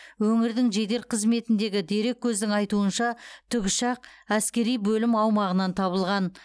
өңірдің жедел қызметіндегі дереккөздің айтуынша тікұшақ әскери бөлім аумағынан табылған